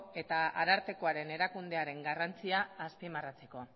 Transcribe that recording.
eta arartekoaren erakundearen garrantzia azpimarratzeko